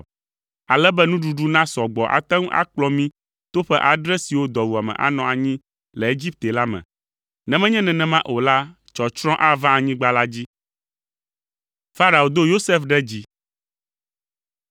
ale be nuɖuɖu nasɔ gbɔ ate ŋu akplɔ mí to ƒe adre siwo dɔwuame anɔ anyi le Egipte la me. Ne menye nenema o la, tsɔtsrɔ̃ ava anyigba la dzi.”